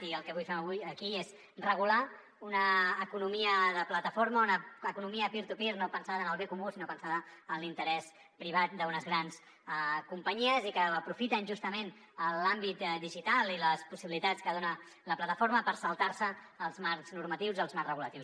i el que avui fem aquí és regular una economia de plataforma una economia peer to peer no pensant en el bé comú sinó pensant en l’interès privat d’unes grans companyies i que aprofiten justament l’àmbit digital i les possibilitats que dona la plataforma per saltar se els marcs normatius i els marc reguladors